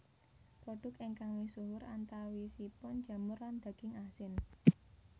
Produk ingkang misuhur antawisipun jamur lan daging asin